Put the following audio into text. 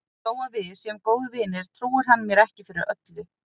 Þó að við séum góðir vinir trúir hann mér ekki fyrir öllu.